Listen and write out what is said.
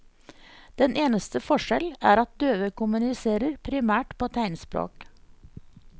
Den eneste forskjell er at døve kommuniserer primært på tegnspråk.